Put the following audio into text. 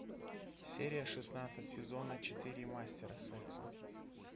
серия шестнадцать сезона четыре мастера секса